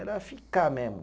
Era ficar mesmo.